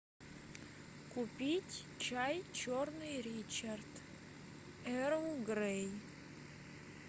купить чай черный ричард эрл грей